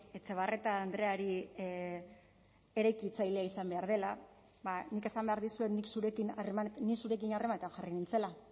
etxebarrieta andreari eraikitzailea izan behar dela ba nik esan behar dizuet nik zurekin harremanetan jarri nintzela